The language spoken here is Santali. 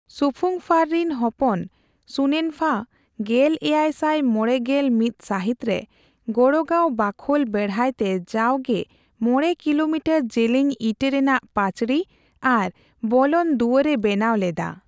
ᱥᱩᱠᱷᱨᱩᱝᱯᱷᱟᱨ ᱨᱤᱱ ᱦᱚᱯᱚᱱ ᱥᱩᱱᱮᱱᱯᱷᱟ ᱜᱮᱞ ᱮᱭᱟᱭ ᱥᱟᱭ ᱢᱚᱲᱮ ᱜᱮᱞ ᱢᱤᱛ ᱥᱟᱦᱤᱛᱨᱮ ᱜᱚᱲᱜᱟᱣ ᱵᱟᱠᱷᱳᱞ ᱵᱮᱦᱲᱟᱭᱛᱮ ᱡᱟᱣᱜᱮ ᱢᱚᱲᱮ ᱠᱤᱞᱳᱢᱤᱴᱟᱨ ᱡᱮᱞᱮᱧ ᱤᱴᱟᱹ ᱨᱮᱱᱟᱜ ᱯᱟᱹᱪᱨᱤ ᱟᱨ ᱵᱚᱞᱚᱱ ᱫᱩᱣᱟᱹᱨ ᱮ ᱵᱮᱱᱟᱣ ᱞᱮᱫᱼᱟ ᱾